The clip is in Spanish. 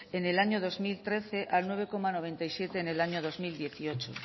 en el año dos mil trece al nueve coma noventa y siete en el año dos mil dieciocho